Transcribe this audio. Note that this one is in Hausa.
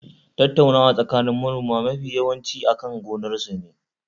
Tattaunawa tsakanin manoma mafi yawanci akan gonar sune.